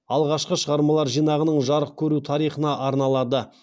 алғашқы шығармалар жинағының жарық көру тарихына арналады